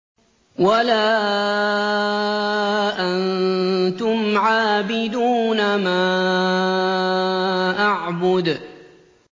وَلَا أَنتُمْ عَابِدُونَ مَا أَعْبُدُ